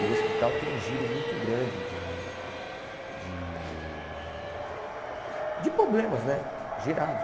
E o hospital tem um giro muito grande de de de problemas né gerados.